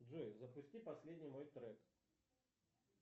джой запусти последний мой трек